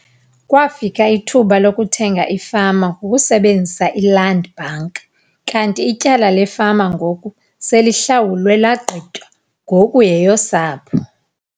Kwafika ithuba lokuthenga ifama ngokusebenzisa iLand Bank kanti ityala lefama ngoku selihlawulwe lagqitywa ngoku yeyosapho.